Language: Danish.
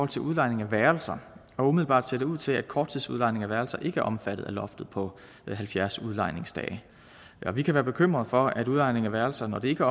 til udlejningen af værelser umiddelbart ser det ud til at korttidsudlejning af værelser ikke er omfattet af loftet på halvfjerds udlejningsdage og vi kan være bekymret for at udlejningen af værelser når det ikke